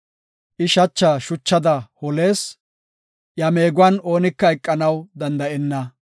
I shacha shuchada holees; iya meeguwan oonika eqanaw danda7enna.